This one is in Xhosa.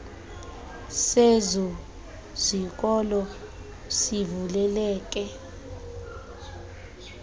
sezo zikolo sivuleleke